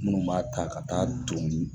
Munnu b'a ta ka taa tɔn.